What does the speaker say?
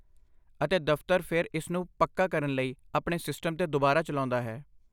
ਅਤੇ ਦਫ਼ਤਰ ਫਿਰ ਇਸ ਨੂੰ ਪੱਕਾ ਕਰਨ ਲਈ ਆਪਣੇ ਸਿਸਟਮ ਤੇ ਦੁਬਾਰਾ ਚਲਾਉਂਦਾ ਹੈ।